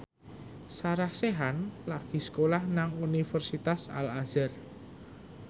Sarah Sechan lagi sekolah nang Universitas Al Azhar